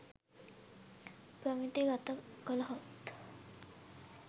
ප්‍රමිති ගත කළොත්